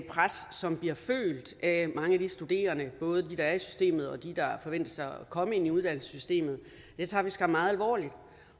pres som bliver følt af mange af de studerende både dem der er i systemet og dem der forventes at komme ind i uddannelsessystemet og det tager vi skam meget alvorligt